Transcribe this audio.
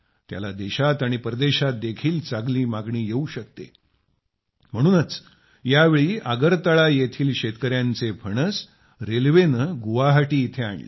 त्याला देशात आणि परदेशात देखील चांगली मागणी येऊ शकते म्हणूनच यावेळी आगरतळा येथील शेतकर्यांचे फणस रेल्वेने गुवाहाटी येथे आणले